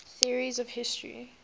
theories of history